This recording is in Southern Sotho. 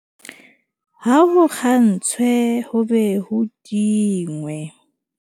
Ha ho kgantshwe ho be ho tingwe.